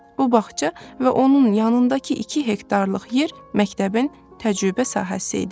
Bu bağça və onun yanındakı 2 hektarlıq yer məktəbin təcrübə sahəsi idi.